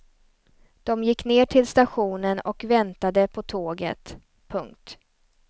De gick ner till stationen och väntade på tåget. punkt